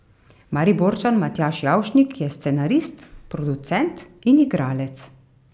Mariborčan Matjaž Javšnik je scenarist, producent in igralec.